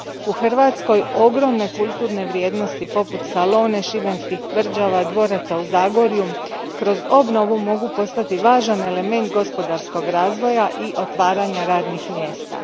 U Hrvatskoj ogromne kulturne vrijednosti poput Salone, šibenskih tvrđava, dvoraca u Zagorju kroz obnovu mogu postati važan element gospodarskog razvoja i otvaranja radnih mjesta.